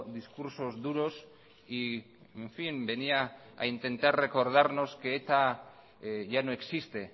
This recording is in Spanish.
discursos duros y en fin venía a intentar recordarnos que eta ya no existe